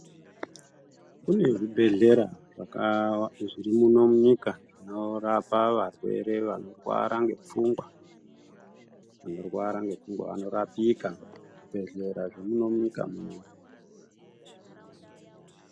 Kune zvibhehlera zvirimuno munyika zvinorapa varwere vanorwara ngepfungwa. Vanorwara ngepfungwa vanorapika muzvibhehlera zvemuno munyika muno.